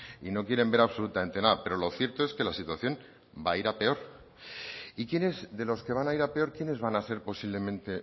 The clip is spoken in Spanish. y no quieren ver absolutamente nada pero lo cierto es que la situación va a ir a peor y quiénes de los que van a ir a peor quiénes van a ser posiblemente